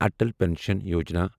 Atal pension Yojana